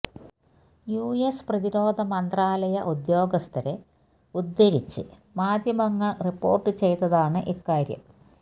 U S പ്രതിരോധ മന്ത്രാലയ ഉദ്യോഗസ്ഥരെ ഉദ്ധരിച്ച് മാധ്യമങ്ങള് റിപ്പോര്ട്ട് ചെയ്തതാണ് ഇക്കാര്യം